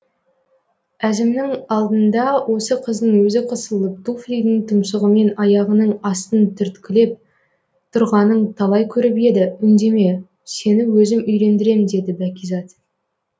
әзімнің алдында осы қыздың өзі қысылып туфлидің тұмсығымен аяғының астын түрткілеп тұрғанын талай көріп еді үндеме сені өзім үйлендірем деді бәкизат